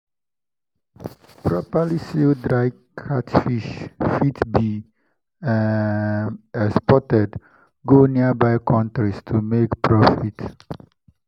properly sealed dried catfish fit be um exported go nearby countries to make profit.